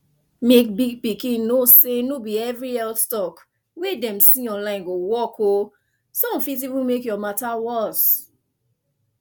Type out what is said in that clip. mek big pikin know say no be every health talk wey dem see online go work o some fit even make your matter worse